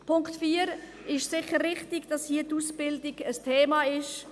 Zum Punkt 4: Es ist sicher richtig, dass die Ausbildung hier ein Thema ist.